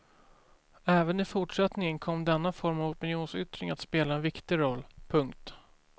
Även i fortsättningen kom denna form av opinionsyttring att spela en viktig roll. punkt